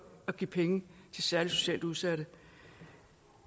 at give penge til særligt socialt udsatte